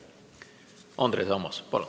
Andres Ammas, palun!